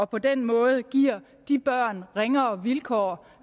på den måde giver børnene ringere vilkår